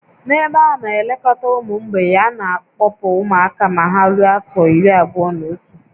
N'ebe a ana-elekọta ụmụ mgbei, a na-akpọpụ ụmụaka ma ha rue afọ iri abụọ-na-otu